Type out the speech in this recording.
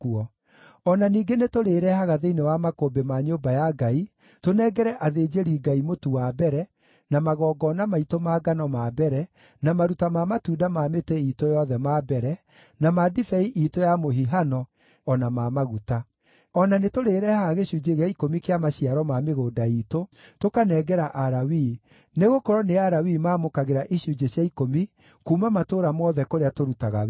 “O na ningĩ nĩtũrĩĩrehaga thĩinĩ wa makũmbĩ ma nyũmba ya Ngai, tũnengere athĩnjĩri-Ngai mũtu wa mbere, na magongona maitũ ma ngano ma mbere, na maruta ma matunda ma mĩtĩ iitũ yothe ma mbere, na ma ndibei iitũ ya mũhihano o na ma maguta. O na nĩtũrĩĩrehaga gĩcunjĩ gĩa ikũmi kĩa maciaro ma mĩgũnda iitũ, tũkanengera Alawii, nĩgũkorwo nĩ Alawii maamũkagĩra icunjĩ cia ikũmi kuuma matũũra mothe kũrĩa tũrutaga wĩra.